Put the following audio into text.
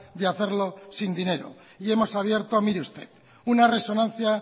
de hacerlo sin dinero y hemos abierto mire usted una resonancia